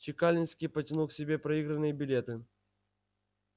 чекалинский потянул к себе проигранные билеты